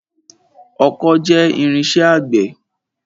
Ọkọ́ jẹ́ irinṣẹ́ àgbẹ̀.